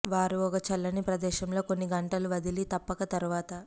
వారు ఒక చల్లని ప్రదేశంలో కొన్ని గంటలు వదిలి తప్పక తరువాత